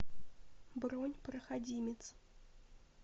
бронь проходимец